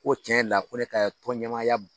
Ko tiɲɛ la ko ne ka tɔnɲɛmaaya